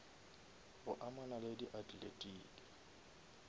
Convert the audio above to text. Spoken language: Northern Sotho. go amana le di athletiki